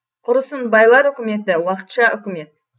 құрысын байлар үкіметі уақытша үкімет